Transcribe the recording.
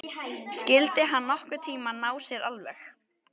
Skyldi hann nokkurn tíma ná sér alveg?